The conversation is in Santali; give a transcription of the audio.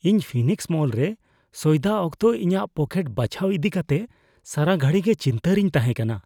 ᱤᱧ ᱯᱷᱤᱱᱤᱠᱥ ᱢᱚᱞ ᱨᱮ ᱥᱚᱭᱫᱟ ᱚᱠᱛᱚ ᱤᱧᱟᱹᱜ ᱯᱚᱠᱮᱴ ᱵᱟᱪᱷᱟᱣ ᱤᱫᱤ ᱠᱟᱛᱮ ᱥᱟᱨᱟ ᱜᱷᱟᱹᱲᱤ ᱜᱮ ᱪᱤᱱᱛᱟᱹ ᱨᱤᱧ ᱛᱟᱦᱮᱸ ᱠᱟᱱᱟ ᱾